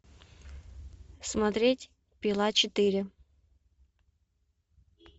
смотреть пила четыре